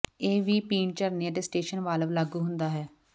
ਇਹ ਵੀ ਪੀਣ ਝਰਨੇ ਅਤੇ ਸਟੇਸ਼ਨ ਵਾਲਵ ਲਾਗੂ ਹੁੰਦਾ ਹੈ